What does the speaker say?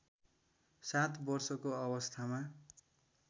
सात वर्षको अवस्थामा